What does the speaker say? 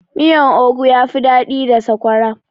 Miyan ogu yafi daɗi da sakwara